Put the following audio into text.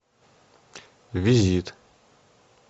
визит